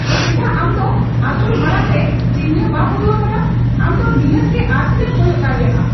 ᱪᱮᱫᱟᱜ ᱟᱢ ᱫᱚ ᱟᱹᱪᱩᱨ ᱢᱟᱲᱟᱝ ᱨᱮ ᱪᱤᱱᱦᱟᱹ ᱵᱟᱢ ᱩᱫᱩᱜ ᱟᱠᱟᱫᱟ? ᱟᱢ ᱫᱚ ᱱᱤᱦᱟᱹᱛ ᱜᱮ ᱟᱨᱥᱤᱨᱮᱢ ᱠᱚᱭᱚᱜ ᱫᱟᱲᱮᱭᱟᱜᱼᱟ ᱾